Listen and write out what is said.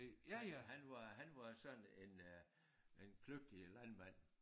Han han var han var sådan en øh en kløgtig landmand